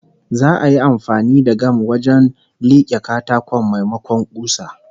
Za'a yi amfani da gam wajen like katakon, maimakon kusa